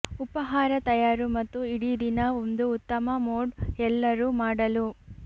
ಉಪಹಾರ ತಯಾರು ಮತ್ತು ಇಡೀ ದಿನ ಒಂದು ಉತ್ತಮ ಮೂಡ್ ಎಲ್ಲರೂ ಮಾಡಲು